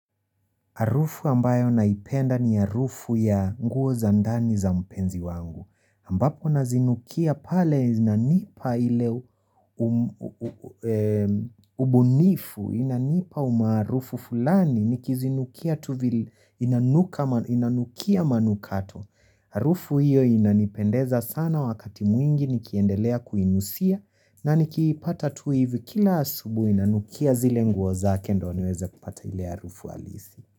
Harufu ambayo naipenda ni harufu ya nguo za ndani za mpenzi wangu. Ambapo nazinukia pale zinanipa ile u ubunifu, inanipa umaarufu fulani, nikizinukia tu inanukia manukato. Harufu hiyo inanipendeza sana wakati mwingi nikiendelea kuinusia na nikiipata tu hivi kila asubuhi nanukia zile nguo zake ndo niweze kupata ile harufu halisi.